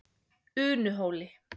Unuhóli